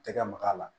Tɛgɛ mak'a la